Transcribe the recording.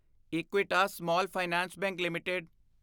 Equitas small finance bank LTD